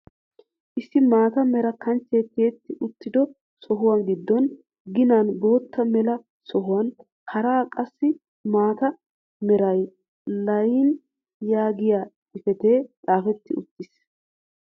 Issi maata mera kanchchee tiyetti uttido sohuwaan giddo giinan bootta mela sohuwaan hara qassi mata meran layin yaagiyaa xifatee xaafetti uttiis.